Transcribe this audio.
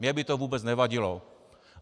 Mně by to vůbec nevadilo.